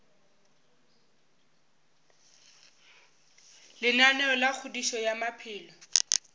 lenaneo la kgodišo ya maphelo